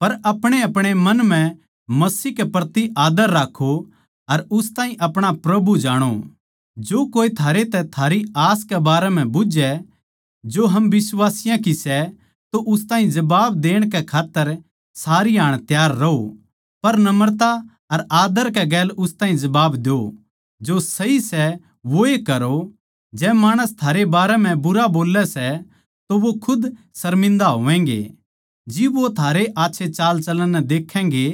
पर अपणेअपणे मन म्ह मसीह के प्रति आदर राक्खों अर उस ताहीं अपणा प्रभु जाणो जो कोए थारै तै थारी आस कै बारै म्ह बुझ्झै जो हम बिश्वासियाँ की सै तो उस ताहीं जबाब देण कै खात्तर सारी हाण त्यार रहो पर नम्रता अर आदर कै गेल उस ताहीं जवाब द्यो जो सही सै वोए करो जै माणस थारे बारें म्ह बुरा बोल्लै सै तो वो खुद शर्मिन्दा होवैंगे जिब वो थारे आच्छे चालचलण नै देक्खैंगे